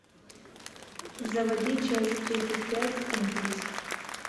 заводи часть тридцать пять импульс